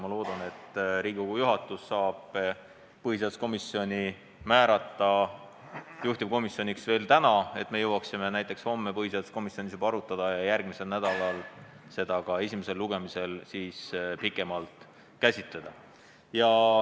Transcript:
Ma loodan, et Riigikogu juhatus saab põhiseaduskomisjoni määrata juhtivkomisjoniks veel täna, et jõuaksime seda juba homme põhiseaduskomisjonis arutada ja järgmisel nädalal esimesel lugemisel pikemalt käsitleda.